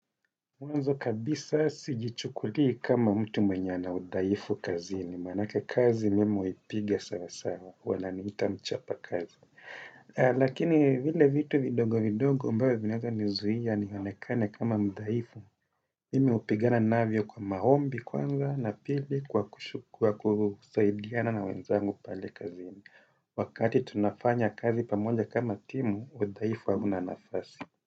Mwanzo kabisa sijichukulii kama mtu mwenya ana udhaifu kazini. Manake kazi mimi huipigia sana sana. Wananiita mchapa kazi. Lakini vile vitu vidogo vidogo ambayo vinaweza nizuia nionekane kama mdhaifu. Mimi hupigana navyo kwa maombi kwanza na pili kwa kushukua kusaidiana na wenzangu pale kazini. Wakati tunafanya kazi pamoja kama timu, udhaifu hauna nafasi.